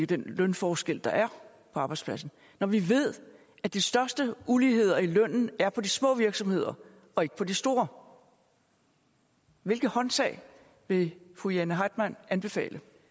den lønforskel der er på arbejdspladsen når vi ved at de største uligheder i lønnen er på de små virksomheder og ikke på de store hvilke håndtag vil fru jane heitmann anbefale